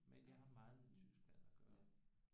Men jeg har meget med Tyskland at gøre